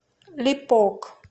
липок